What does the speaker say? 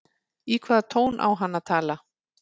Í hvaða tón á hann að tala?